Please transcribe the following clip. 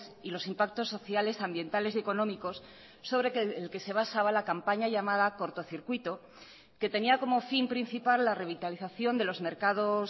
y los impactos sociales ambientales y económicos sobre el que se basaba la campaña llamada cortocircuito que tenía como fin principal la revitalización de los mercados